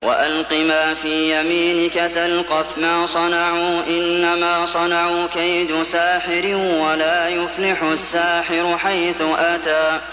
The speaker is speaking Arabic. وَأَلْقِ مَا فِي يَمِينِكَ تَلْقَفْ مَا صَنَعُوا ۖ إِنَّمَا صَنَعُوا كَيْدُ سَاحِرٍ ۖ وَلَا يُفْلِحُ السَّاحِرُ حَيْثُ أَتَىٰ